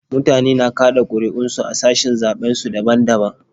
Mutane na kaɗa ƙuri'un su a sashin zaɓen su daban daban.